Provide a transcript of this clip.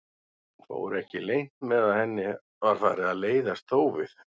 Fór ekki leynt með að henni var farið að leiðast þófið.